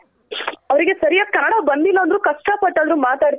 ಹೌದು ಅವರ್ಗೆ ಸರಿಯಾಗ್ ಕನ್ನಡ ಬಂದಿಲ್ಲ ಅಂದ್ರು ಕಷ್ಟ ಪಟ್ ಆದರು ಮಾತಾಡ್ತಾ